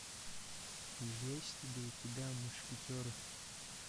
есть ли у тебя мушкетеры